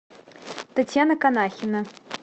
татьяна канахина